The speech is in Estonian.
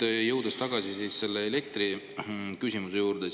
Aga jõuan tagasi elektriküsimuse juurde.